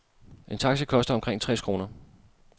En taxi koster omkring tres kroner.